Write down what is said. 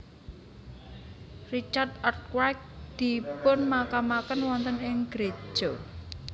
Richard Arkwright dipunmakamaken wonten ing Gereja St